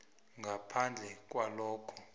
ngaphandle kwalokha